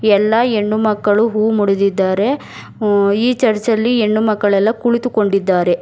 ಎಲ್ಲಾ ಹೆಣ್ಣು ಮಕ್ಕಳು ಹೂ ಮೂಡಿದ್ದಿದ್ದಾರೆ ಈ ಚರ್ಚ್ ಅಲ್ಲಿ ಹೆಣ್ಣು ಮಕ್ಕಳು ಎಲ್ಲಾ ಕುಳಿತಿಕೊಂಡಿದ್ದಾರೆ.